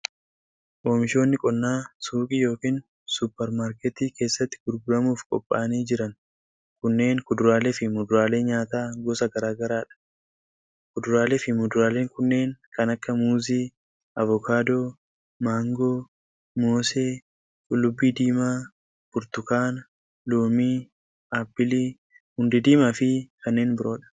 Oomishoonni qonnaa suuqii yookin supparmaarkettii keessatti gurguramuuf qopha'anii jiran kunneen kuduraalee fi muduraalee nyaataa gosa garaa garaa dha. Kuduraalee fi muduraaleen kunneen kan akka:muuzii, avokaadoo, maangoo, moosee, qullubbii diimaa burtukaana, loomii, appilii, hundee diimaa fi kanneen biroo dha.